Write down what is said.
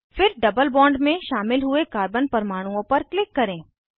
फिर double bond में शामिल हुए कार्बन परमाणुओं पर क्लिक करें